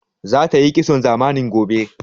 Za tayi kitson zamani gobe